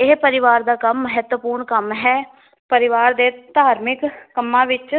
ਇਹ ਪਰਿਵਾਰ ਦਾ ਕੰਮ ਮਹਤਵਪੂਰਣ ਕੰਮ ਹੈ ਪਰਿਵਾਰ ਦੇ ਧਾਰਮਿਕ ਕੰਮਾਂ ਵਿਚ